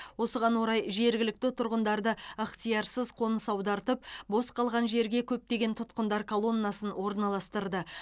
осыған орай жергілікті тұрғындарды ықтиярсыз қоныс аудартып бос қалған жерге көптеген тұтқындар колоннасын орналастырды